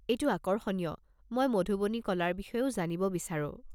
এইটো আকৰ্ষণীয়, মই মধুবনী কলাৰ বিষয়েও জানিব বিচাৰো।